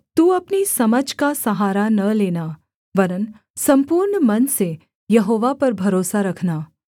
तू अपनी समझ का सहारा न लेना वरन् सम्पूर्ण मन से यहोवा पर भरोसा रखना